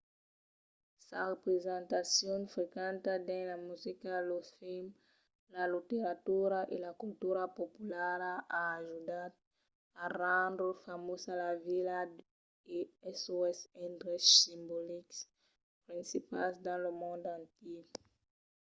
sa representacion frequenta dins la musica los films la literatura e la cultura populara a ajudat a rendre famosa la vila e sos endreches simbolics principals dins lo mond entièr